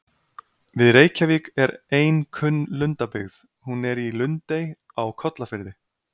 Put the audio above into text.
Við Reykjavík er ein kunn lundabyggð, hún er í Lundey á Kollafirði.